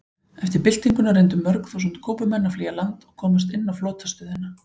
Eftir byltinguna reyndu mörg þúsund Kúbumenn að flýja land og komast inn á flotastöðina.